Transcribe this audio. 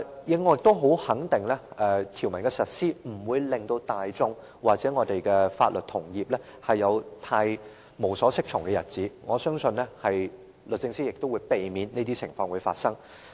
此外，我也肯定實施《條例草案》，不會令大眾或我們的法律同業有太無所適從的日子，我相信律政司亦會避免這些情況發生。